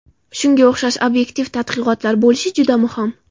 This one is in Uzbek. Shunga o‘xshash obyektiv tadqiqotlar bo‘lishi juda muhim.